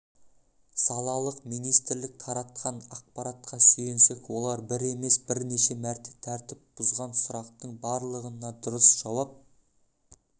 салалық министрлік таратқан ақпаратқа сүйенсек олар бір емес бірнеше мәрте тәртіп бұзған сұрақтың барлығына дұрыс жауап